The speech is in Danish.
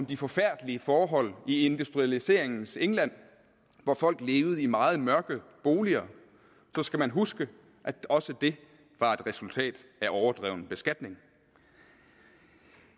de forfærdelige forhold i industrialiseringens england hvor folk levede i meget mørke boliger så skal man huske at også det var et resultat af overdreven beskatning